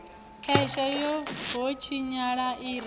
khwese ho tshinyala i re